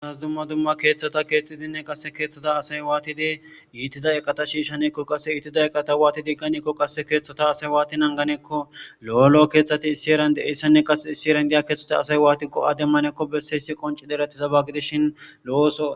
Dumma dumma keththata kexxidinne qase keththaza asayi wattid ittiza eqata shishanekonni qase ittiza eqata wati ekanekonni qasekka keththata asayi wati nanganekonni lo'o lo'o keththati issi herani de'iyassa qase issi herani diya keththata asayi wati go'a demanekonni bessesi qonccod eretiyaba gidishin loo oththonni